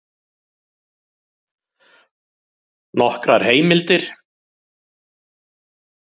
Nokkrar heimildir: